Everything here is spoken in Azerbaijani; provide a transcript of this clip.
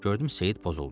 Gördüm Seyid pozuldu.